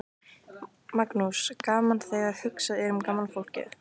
Magnús: Gaman þegar hugsað er um gamla fólkið?